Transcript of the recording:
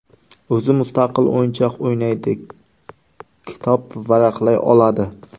O‘zi mustaqil o‘yinchoq o‘ynaydi, kitob varaqlay oladi.